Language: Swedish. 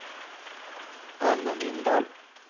Anne Lindahl